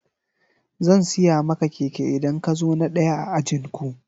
Zan siya maka keke idan ka zo na daya a ajinku.